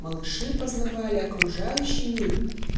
малыши познавали окружающий мир